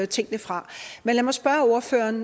tingene fra men lad mig spørge ordføreren